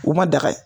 U ma daga ye